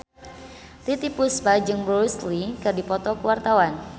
Titiek Puspa jeung Bruce Lee keur dipoto ku wartawan